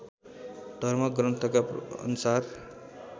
धर्म ग्रन्थका अनुसार